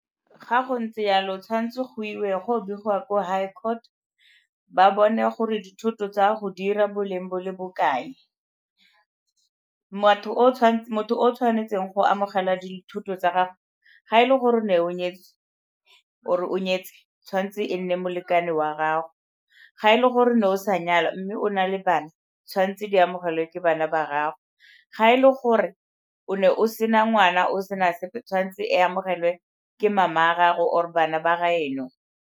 Ga go ntse yalo, tshwanetse go iwe go begiwa ko high court ba bone gore dithoto tsa go di 'ira boleng bo le bokae. Motho o o tshwanetseng go amogela dithoto tsa gago, ha e le gore o ne o nyetswe oo-e o nyetse tshwanetse e nne molekane wa gago. Ha e le gore o ne o sa nyala mme o na le bana, tshwanetse di amogelwe ke bana ba gago, ha e le gore o ne o sena ngwana o sena sepe tshwanetse e amogelwe ke mama wa gago or-e bana ba gaeno.